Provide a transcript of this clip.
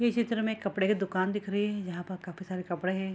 इस चित्र मे कपड़े का दुकान दिख रही है जहाँ पे काफी सारे कपड़े हैं ।